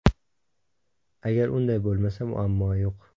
Agar unday bo‘lmasa, muammo yo‘q.